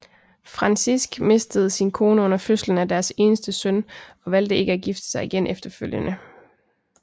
Francisk mistede sin kone under fødslen af deres eneste søn og valgte ikke at gifte sig igen efterfølgende